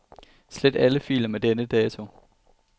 Slet alle filer med denne dato.